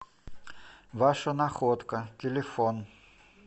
ваша находка телефон